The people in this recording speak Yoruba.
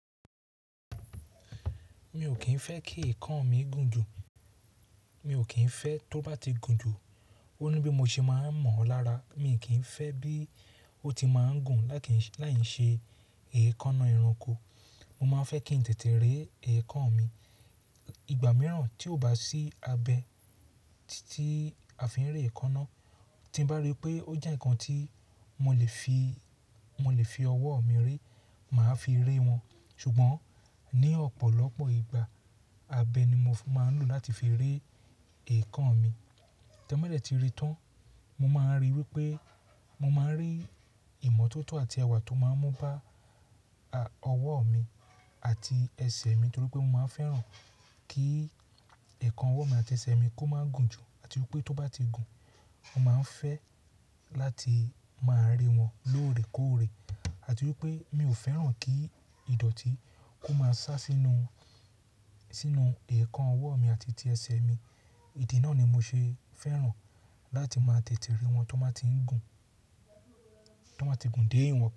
Mi ò kín fẹ́ kí ẹ̀kan mi gùn jù. Mi ò kín fẹ́ tó bá ti gùn jù, ó ní bí mo ṣe máa ń mọ̀ ọ́ lára. Mi kì í fẹ́ bí ó ti máa ń gùn láì ṣe èékánná ẹranko. Mo máa ń fẹ́ kí n tètè re ẹ̀kan mi. Ìgbà mìíràn tí ó bá sí abẹ ti àfihàn ré ẹ̀kan náà, tí bá rí pé ó jẹ́ ǹkan tí mo lè fi ọwọ́ mi re, màá fi re wọn. Ṣùgbọ́n ní ọ̀pọ̀lọpọ̀ ìgbà, abẹ ni mo máa ń lò láti fi re ẹ̀kan mi. Tẹ́badẹ̀ tí re tán, mo máa ń rí wípé mo máa ń rí ìmọ́tótó àti ẹwà tó máa ń mú bá ọwọ́ mi àti ẹsẹ̀ mi torí pé mo máa ń fẹ́ràn kí ẹ̀kan ọwọ́ mi àti ẹsẹ̀ mi kó máa gùn jù àti wípé tó bá ti gùn, mo máa ń fẹ́ láti máa re wọn lóòrèkóòrè àti wípé mi ò fẹ́ràn kí ìdọ̀tí kó máa sá sinu sínú ẹ̀kan ọwọ́ mi àti ti ẹsẹ̀ mi. Idi náà ni mo ṣe fẹ́ràn láti máa tètè re wọn tó bá ti ń gùn dé ìwọ̀n.